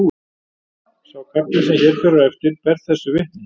Sá kafli sem hér fer á eftir ber þessu vitni